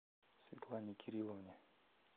светлане кирилловне